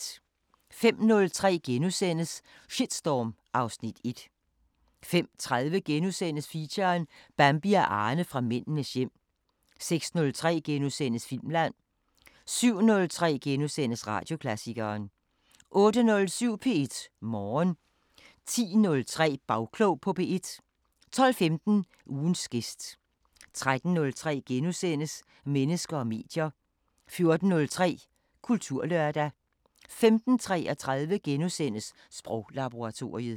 05:03: Shitstorm (Afs. 1)* 05:30: Feature: Bambi og Arne fra Mændenes hjem * 06:03: Filmland * 07:03: Radioklassikeren * 08:07: P1 Morgen 10:03: Bagklog på P1 12:15: Ugens gæst 13:03: Mennesker og medier * 14:03: Kulturlørdag 15:33: Sproglaboratoriet *